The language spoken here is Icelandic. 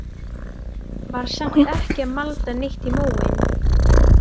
Var samt ekki að malda neitt í móinn.